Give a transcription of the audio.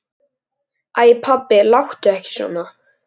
Iðrast þess nú.